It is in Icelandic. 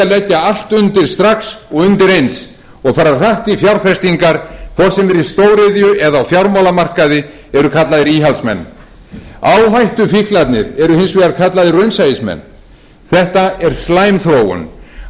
leggja allt undir strax og undir eins og fara hratt í fjárfestingar hvort sem er í stóriðju eða á fjármálamarkaði eru kallaðir íhaldsmenn áhættufíklarnir eru hins vegar kallaðir raunsæismenn þetta er slæm þróun allt of mikið af